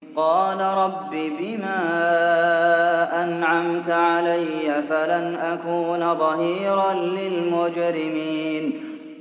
قَالَ رَبِّ بِمَا أَنْعَمْتَ عَلَيَّ فَلَنْ أَكُونَ ظَهِيرًا لِّلْمُجْرِمِينَ